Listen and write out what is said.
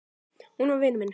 Hún var vinur minn.